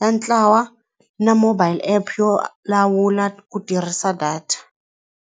ya ntlawa na mobile app yo lawula ku tirhisa data.